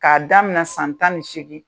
K'a damina san tan ni seegin.